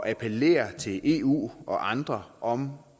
appellere til eu og andre om